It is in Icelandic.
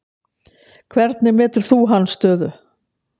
Hvernig metur þú hans stöðu?